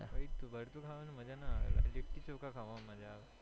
ભરતું ખાવાની મજ્જા ના આવે લિટ્ટી ચોખ્ખા ખાવાની મજ્જા આવે